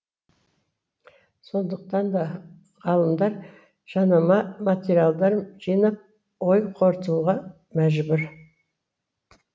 сондықтан да ғалымдар жанама материалдар жинап ой қорытуға мәжбүр